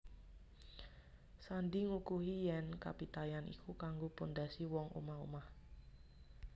Sandi ngukuhi yèn kapitayan iku kanggo pondhasi wong omah omah